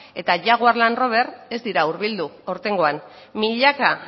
eta jaguar land rover ez dira hurbildu aurtengoan milaka